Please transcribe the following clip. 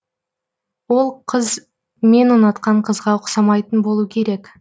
ол қыз мен ұнатқан қызға ұқсамайтын болу керек